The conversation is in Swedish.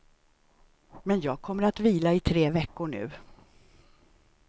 Men jag kommer att vila i tre veckor nu.